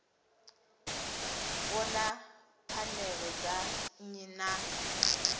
vhona pfanelo dza nnyi na